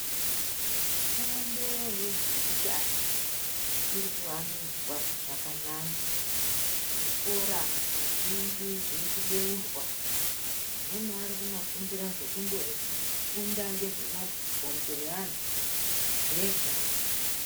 Fundo yezveutano iri kuwandudzwa zvakanyanya zvikora zvizhinji zviri kubeurwa amweni ari Kunofundira zvekundofunda ngemabhonzo eantu zvega.